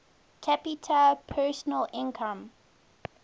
capita personal income